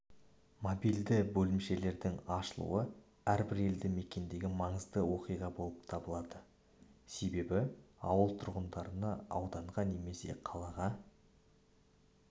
мобильді бөлімшелердің ашылуы әрбір елді мекендегі маңызды оқиға болып табылады себебі ауыл тұрғындарына ауданға немесе қалаға